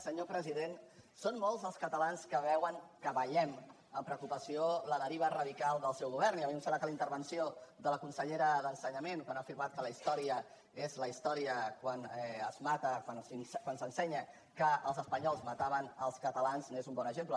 senyor president són molts els catalans que veuen que veiem amb preocupació la deriva radical del seu govern i a mi em sembla que la intervenció de la consellera d’ensenyament quan ha afirmat que la història és la història quan s’ensenya que els espanyols mataven els catalans n’és un bon exemple